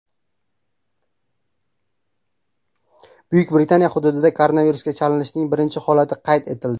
Buyuk Britaniya hududida koronavirusga chalinishning birinchi holati qayd etildi.